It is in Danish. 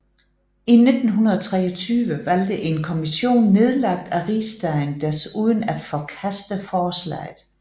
I 1923 valgte en kommission nedlagt af Rigsdagen desuden at forkaste forslaget